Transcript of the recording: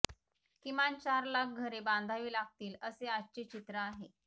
किमान चार लाख घरे बांधावी लागतील असे आजचे चित्र आहे